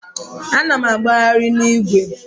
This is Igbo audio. Ana m agbagharị n'igwe.